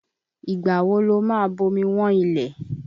Ìgbà wo lo ma bomi wọ́n ilẹ̀?